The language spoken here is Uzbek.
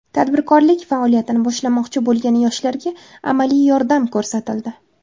Tadbirkorlik faoliyatini boshlamoqchi bo‘lgan yoshlarga amaliy yordam ko‘rsatildi.